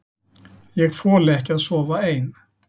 Ég þoli ekki að sofa ein.